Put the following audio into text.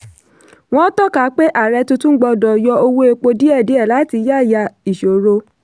wọ́n tọ́ka pé ààrẹ tuntun gbọ́dọ̀ yọ owó epo díẹ̀díẹ̀ láti yáyà ìṣòro.